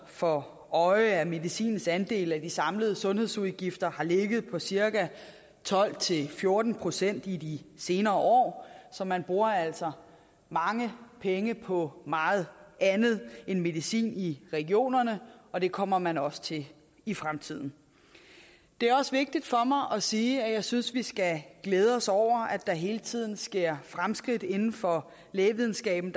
for øje at medicinens andel af de samlede sundhedsudgifter har ligget på cirka tolv til fjorten procent i de senere år så man bruger altså mange penge på meget andet end medicin i regionerne og det kommer man også til i fremtiden det er også vigtigt for mig at sige at jeg synes vi skal glæde os over at der hele tiden sker fremskridt inden for lægevidenskaben